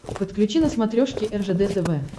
подключи на смотрешке ржд тв